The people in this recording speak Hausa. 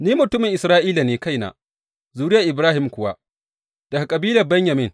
Ni mutumin Isra’ila ne kaina, zuriyar Ibrahim kuwa, daga kabilar Benyamin.